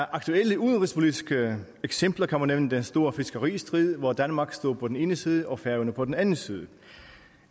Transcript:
aktuelle udenrigspolitiske eksempler kan man nævne den store fiskeristrid hvor danmark stod på den ene side og færøerne på den anden side